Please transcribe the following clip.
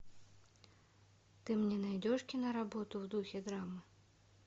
ты мне найдешь киноработу в духе драмы